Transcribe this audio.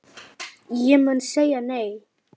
Ég mun segja nei.